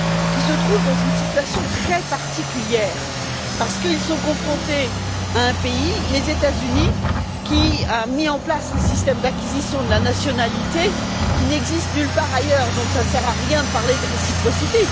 qui se trouvent dans une situation très particulière parce qu'ils sont confrontés à un pays, les États Unis, qui a mis en place un système d'acquisition de la nationalité qui n'existe nulle part ailleurs, donc cela ne sert à rien de parler de réciprocité.